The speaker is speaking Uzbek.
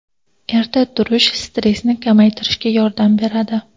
Erta turish stressni kamaytirishga yordam beradi.